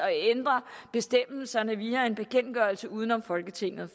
at ændre bestemmelserne via en bekendtgørelse uden om folketinget